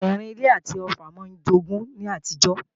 Ẹrìn-ilé àti Ọ̀ffà máa ń jogun ní àtijọ́